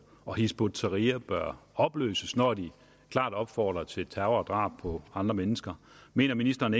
og hizb ut tahrir bør opløses når de klart opfordrer til terror og drab på andre mennesker mener ministeren